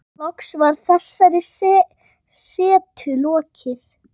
Loks var þessari setu lokið.